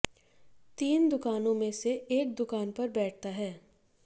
तीन दुकानों में से एक दुकान पर बैठता है